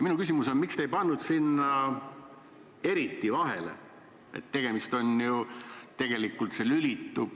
Minu küsimus on, miks te ei pandud sinna vahele sõna "eriti".